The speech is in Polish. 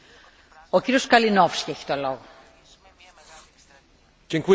Bogactwo natury to największa fortuna, jaką człowiek ma w posiadaniu.